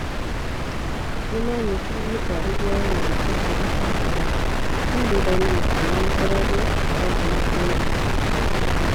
"Nĩ maanyitire mũtwarithia wa marikabu na andũ ake atatũ, no thutha-inĩ makĩmarekereria", Khadiza oigire.